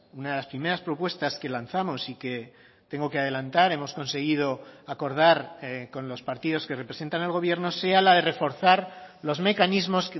una de las primeras propuestas que lanzamos y que tengo que adelantar hemos conseguido acordar con los partidos que representan al gobierno sea la de reforzar los mecanismos